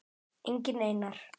Enginn Einar